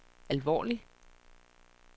alvorlig